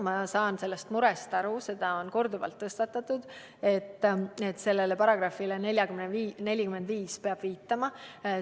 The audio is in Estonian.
Ma saan sellest murest aru, korduvalt on tõstatatud, et peab viitama §-le 45.